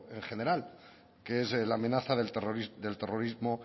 en general que es la amenaza del terrorismo